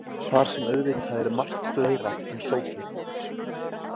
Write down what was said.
Þar sem auðvitað er margt fleira en sósur.